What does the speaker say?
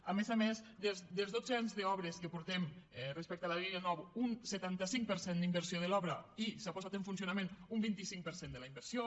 a més a més dels dotze anys d’obres que portem respecte a la línia nou un setanta cinc per cent d’inversió de l’obra i s’ha posat en funcionament un vint cinc per cent de la inversió